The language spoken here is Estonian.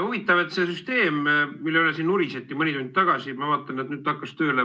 Huvitav, et see süsteem, mille üle siin nuriseti mõni tund tagasi, ma vaatan, et nüüd see hakkas tööle.